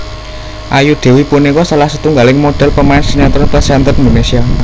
Ayu Dewi punika salah setunggaling modhèl pemain sinetron presenter Indonésia